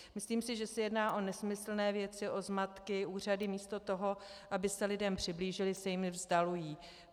Myslím si, že se jedná o nesmyslné věci, o zmatky, úřady místo toho, aby se lidem přiblížily, se jim vzdalují.